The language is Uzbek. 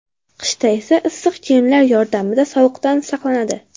Qishda esa issiq kiyimlar yordamida sovuqdan saqlanadi.